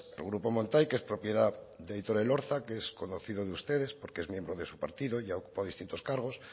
el grupo montai que es de aitor elorza que es conocido de ustedes porque es miembro de su partido y ha ocupado distintos cargos